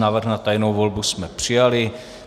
Návrh na tajnou volbu jsme přijali.